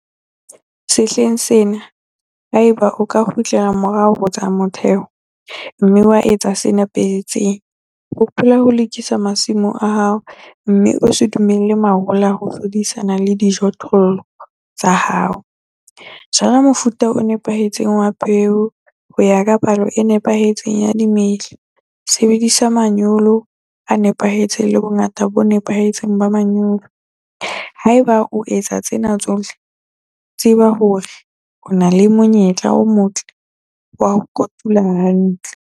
Sehleng sena, haeba o ka kgutlela morao ho tsa motheho, mme wa etsa se nepahetseng - hopola ho lokisa masimo a hao, mme o se dumelle mahola ho hlodisana le dijothollo tsa hao, jala mofuta o nepahetseng wa peo ho ya ka palo e nepahetseng ya dimela, sebedisa manyolo a nepahetseng le bongata bo nepahetseng ba manyolo haeba o etsa tsena tsohle, tseba hore o na le monyetla o motle wa ho kotula hantle.